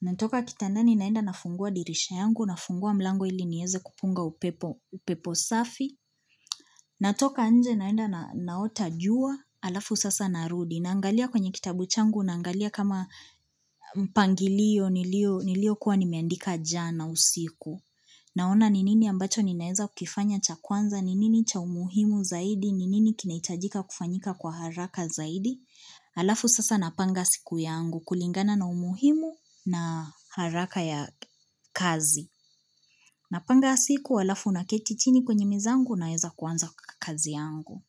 natoka kitandani naenda nafungua dirisha yangu, nafungua mlango ili nieze kupunga upepo safi, natoka nje naenda naota jua, alafu sasa narudi, naangalia kwenye kitabu changu, naangalia kama mpangilio niliokuwa nimeandika jana usiku. Naona ni nini ambacho ninaeza kufanya cha kwanza, ni nini cha umuhimu zaidi, ni nini kinaitajika kufanyika kwa haraka zaidi. Alafu sasa napanga siku yangu kulingana na umuhimu na haraka ya kazi. Napanga siku, alafu naketi chini kwenye meza yangu naeza kuanza kazi yangu.